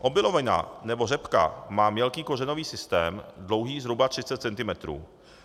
Obilovina nebo řepka má mělký kořenový systém dlouhý zhruba 30 cm.